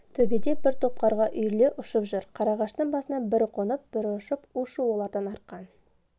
төбеде бір топ қарға үйіріле ұшып жүр қарағаштың басына бірі қонып бірі ұшып у-шу олардан арқан